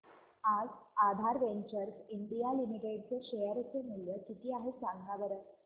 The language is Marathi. आज आधार वेंचर्स इंडिया लिमिटेड चे शेअर चे मूल्य किती आहे सांगा बरं